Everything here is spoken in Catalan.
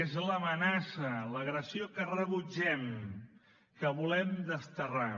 és l’amenaça l’agressió que rebutgem que volem desterrar